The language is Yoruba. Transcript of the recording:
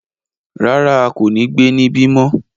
Rárá, a ko ni gbe nibi mọ